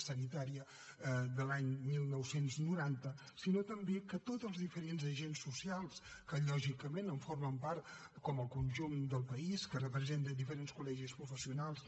sanitària de l’any dinou noranta sinó també per tots els diferents agents socials que lògicament en formen part com a conjunt del país que representen diferents col·legis professionals